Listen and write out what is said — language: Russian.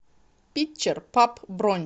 питчер паб бронь